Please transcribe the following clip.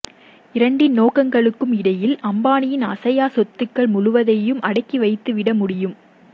இரண்டின் நோக்கங்களுக்கும் இடையில் அம்பானியின் அசையா சொத்துக்கள் முழுவதையும் அடுக்கி வைத்துவிட முடியும்